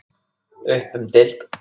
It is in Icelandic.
Upp um deild